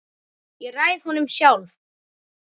Ég ræð honum sjálf.